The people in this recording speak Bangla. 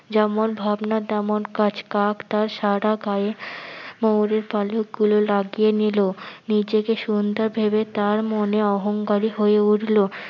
যেমন ভাবনা তেমন কাজ কাক তার সারা গায়ে ময়ূরের পালকগুলো লাগিয়ে নিলো নিজেকে সুন্দর ভেবে তার মনে অহংকারী হয়ে উঠলো।